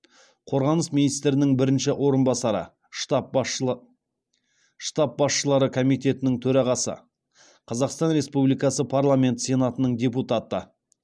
қорғаныс министрінің бірінші орынбасары штаб басшылары комитетінің төрағасы қазақстан республикасы парламенті сенатының депутаты